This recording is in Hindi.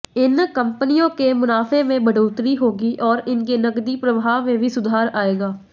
इन कंपनियों के मुनाफे में बढ़ोतरी होगी और उनके नकदी प्रवाह में भी सुधार आएगा